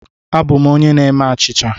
Abụ m onye na-eme achịcha.